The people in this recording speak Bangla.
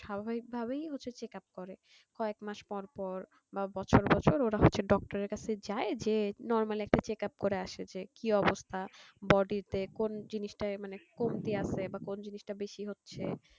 কয়েক ম্যাশ পর পর বা বছর বছর ওরা হচ্ছে doctor এর কাছে যাই যে normal একটা checkup করে আসে কি অবস্থা body তে কোন জিনিষটার মানে কমতি আছে কোন জিনিষটা বেশি আছে